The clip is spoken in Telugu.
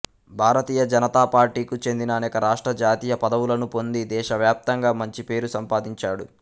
భారతీయ జనతా పార్టీకు చెందిన అనేక రాష్ట్ర జాతీయ పదవులను పొంది దేశవ్యాప్తంగా మంచి పేరు సంపాదించాడు